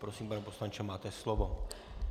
Prosím, pane poslanče, máte slovo.